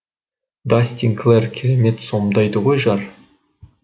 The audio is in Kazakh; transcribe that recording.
дастин клэр керемет сомдайды ғой жар